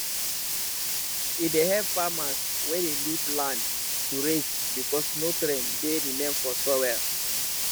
e dey help farmers wey dey leave land to rest becasue nutrient dey remain for soil